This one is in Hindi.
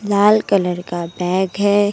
लाल कलर का बैग है।